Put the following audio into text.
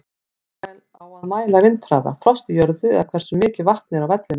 Á að mæla vindhraða, frost í jörðu eða hversu mikið vatn er á vellinum?